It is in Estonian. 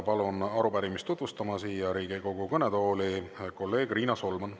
Palun siia Riigikogu kõnetooli arupärimist tutvustama kolleeg Riina Solmani.